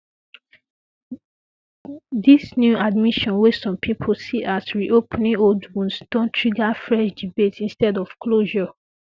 dis new admission wey some pipo see as reopening old wounds don trigger fresh debates instead of closure